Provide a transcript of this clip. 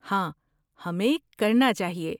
ہاں، ہمیں کرنا چاہیے۔